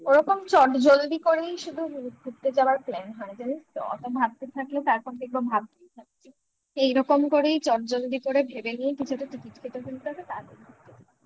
ওরকম চটজলদি করেই শুধু ঘুরতে যাওয়ার plan হয় জানিস তো অত ভাবতে থাকলে তারপর দেখবো ভাবতেই থাক এইরকম করেই চটজলদি করে ভেবে নিয়ে কিছু একটা ticket কেটে ফেলতে হবে